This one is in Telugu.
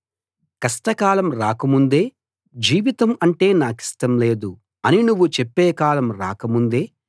కష్టకాలం రాకముందే జీవితం అంటే నాకిష్టం లేదు అని నువ్వు చెప్పే కాలం రాకముందే